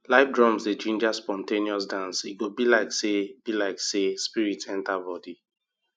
live drums dey ginger spontaneous dance e go be like say be like say spirit enter body